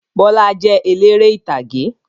Bọlá jẹ́ eléré ìtàgé.